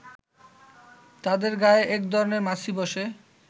তাদের গায়ে একধরনের মাছি বসে